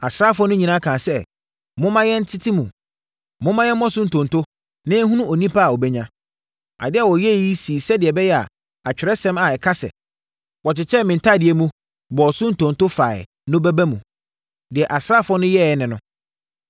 Asraafoɔ no nyinaa kaa sɛ, “Mommma yɛnntete mu. Momma yɛmmɔ so ntonto na yɛnhunu onipa a ɔbɛnya.” Adeɛ a wɔyɛeɛ yi sii sɛdeɛ ɛbɛyɛ a Atwerɛsɛm a ɛka sɛ, “Wɔkyekyɛɛ me ntadeɛ mu, bɔɔ so ntonto faeɛ” no bɛba mu. Deɛ asraafoɔ no yɛeɛ ne no.